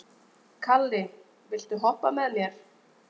Kalli, viltu hoppa með mér?